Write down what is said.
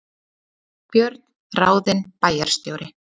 Björn ráðinn bæjarstjóri